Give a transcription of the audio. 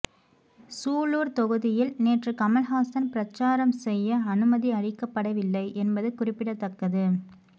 சூலூர் தொகுதியில் நேற்று கமல்ஹாசன் பிரச்சாரம் செய்ய அனுமதி அளிக்கப்படவில்லை என்பது குறிப்பிடத்தக்கது